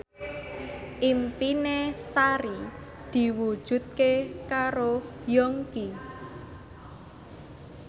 impine Sari diwujudke karo Yongki